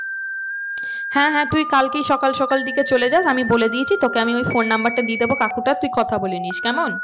হ্যাঁ হ্যাঁ তুই কালকেই সকাল সকাল দিকে চলে যাস আমি বলে দিয়েছি তোকে আমি ওই phone number টা দিয়ে দেবো কাকুটার তুই কথা বলেনিস কেমন